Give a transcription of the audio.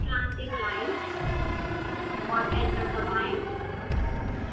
slanting line और enter दबाएं